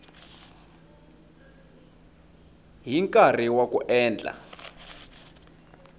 hi nkarhi wa ku endla